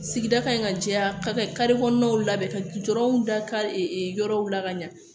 Sigida ka ɲi ka jɛya ka kɔnɔnaw labɛn ka gudɔrɔnw da ka yɔrɔw la ka ɲɛ